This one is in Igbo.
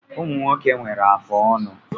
Ụmụ nwoke nwere afụ ọnụ